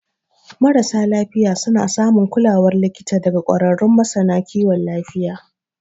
Marasa lafiya suna samun kulawar likita daga ƙwararrun masana kiwon lafiya.